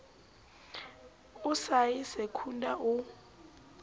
o sa ye secunda o